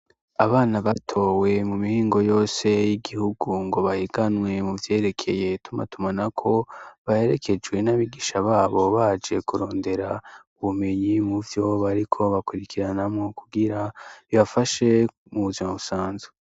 Abana batowe mu mihingo yose y'igihugu ngo bahiganwe mu vyerekeye tumatumana ko baherekejwe n'abigisha babo baje kurondera u bumenyi mu vyobariko bakurikiranamwo kugira bibafashe mubuzoma busanzwe.